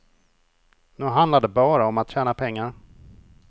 Nu handlar det bara om att tjäna pengar.